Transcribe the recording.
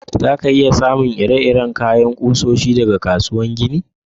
Za ka iya samu ire-iren girman kusoshi daga kasuwar kayan ginin?